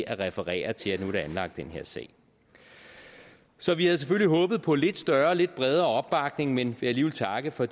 at referere til at nu er der anlagt den her sag så vi havde selvfølgelig håbet på en lidt større og lidt bredere opbakning men vil alligevel takke for